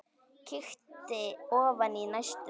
Kíkti ofan í næstu.